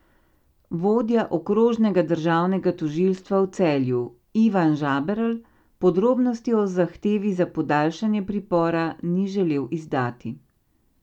Vodja okrožnega državnega tožilstva v Celju Ivan Žaberl podrobnosti o zahtevi za podaljšanje pripora ni želel izdati.